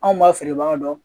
Anw b'a feere bagan dɔ